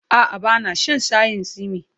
A'a, ba na shan shayin tsimi.